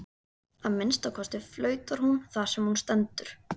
Að minnsta kosti flautar hún þar sem hún stendur.